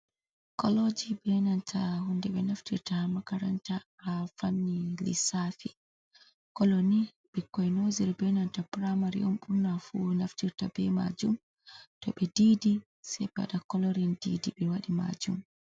Koloji benanta hunde ɓe naftirta makaranta ha fanni lissafi, koloni ɓikkoi noziri benanta puramari on ɓurna fu naftirta be majum to ɓe didi sei ɓe waɗa ƙolorin didi ɓe waɗi majum.